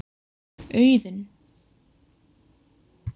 Auðun